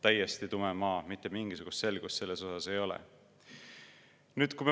Täiesti tume maa, mitte mingisugust selgust ei ole.